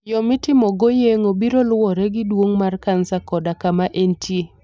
Yo mitimogo yeng'ono biro luwore gi duong' mar kansa koda kama entie.